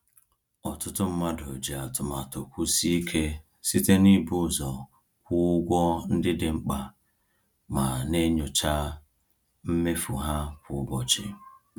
Ọtụtụ mmadụ ji atụmatụ kwụsie ike site n’ịbụ ụzọ kwụọ ụgwọ ndị dị mkpa ma na-enyocha mmefu ha kwa ụbọchị.